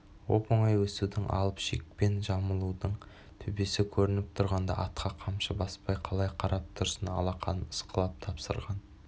оп-оңай өсудің алып шекпен жамылудың төбесі көрініп тұрғанда атқа қамшы баспай қалай қарап тұрсын алақанын ысқылап тапсырған